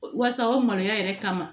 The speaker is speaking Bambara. Wasa o maloya yɛrɛ kama